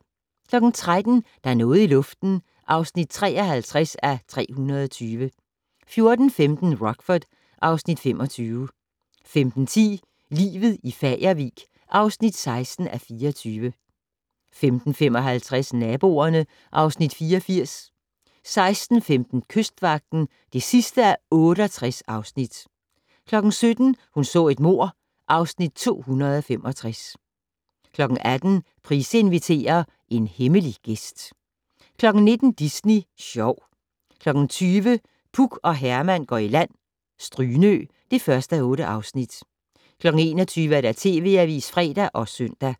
13:00: Der er noget i luften (53:320) 14:15: Rockford (Afs. 25) 15:10: Livet i Fagervik (16:24) 15:55: Naboerne (Afs. 84) 16:15: Kystvagten (68:68) 17:00: Hun så et mord (Afs. 265) 18:00: Price inviterer - hemmelig gæst 19:00: Disney Sjov 20:00: Puk og Herman går i land - Strynø (1:8) 21:00: TV Avisen (fre og søn)